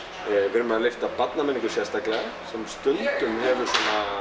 við erum að lyfta barnamenningu sérstaklega sem stundum hefur